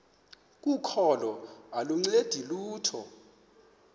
kokholo aluncedi lutho